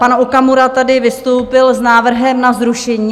Pan Okamura tady vystoupil s návrhem na zrušení.